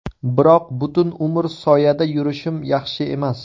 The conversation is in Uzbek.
Biroq butun umr soyada yurishim yaxshi emas.